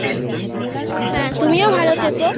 হ্যাঁ তুমিও ভালো থেকো